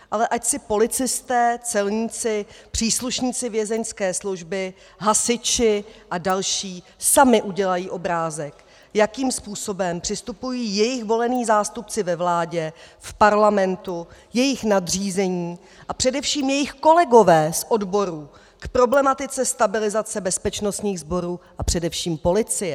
Ale ať si policisté, celníci, příslušníci vězeňské služby, hasiči a další sami udělají obrázek, jakým způsobem přistupují jejich volení zástupci ve vládě, v parlamentu, jejich nadřízení a především jejich kolegové z odborů k problematice stabilizace bezpečnostních sborů a především policie.